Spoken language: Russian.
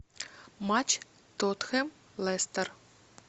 матч тоттенхэм лестер